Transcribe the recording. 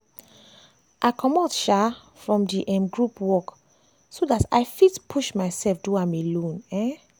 i comot um from di um group work so dat i fit push myself do am alone um.